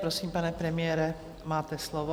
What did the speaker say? Prosím, pane premiére, máte slovo.